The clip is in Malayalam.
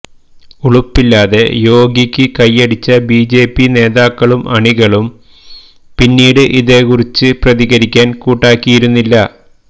ഉളുപ്പില്ലാതെ യോഗിക്ക് കയ്യടിച്ച ബിജെപി നേതാക്കളും അണികളും പിന്നീട് ഇതേക്കുറിച്ച് പ്രതികരിക്കാന് കൂട്ടാക്കിയിരുന്നില്ല